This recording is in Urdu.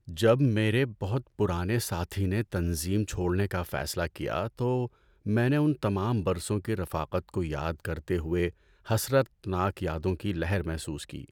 جب میرے بہت پرانے ساتھی نے تنظیم چھوڑنے کا فیصلہ کیا تو میں نے ان تمام برسوں کی رفاقت کو یاد کرتے ہوئے حسرتناک یادوں کی لہر محسوس کی۔